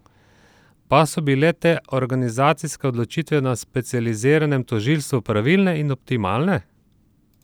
Pa so bile te organizacijske odločitve na specializiranem tožilstvu pravilne in optimalne?